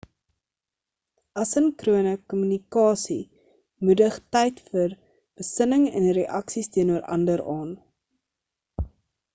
asynchrone kommunikasie moedig tyd vir besinning en reaksies teenoor ander aan